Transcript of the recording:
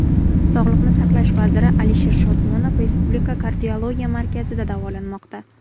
Sog‘liqni saqlash vaziri Alisher Shodmonov Respublika kardiologiya markazida davolanmoqda.